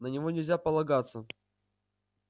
на него нельзя полагаться